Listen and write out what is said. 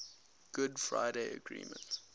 good friday agreement